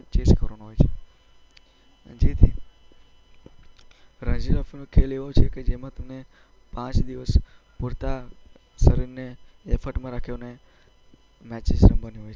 Chase કરવામાં આવે છે, જેથી રણજી ટ્રોફીનો ખેલ એવો છે કે જેમાં તમે પાંચ દિવસ પૂરતા શરીરને એફર્ટમાં રાખીને મેચિસ રમવાની હોય છે.